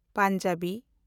Punjabi